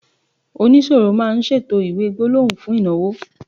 onisoro ma n ṣètò iwe gbólóhùn fún ìnáwó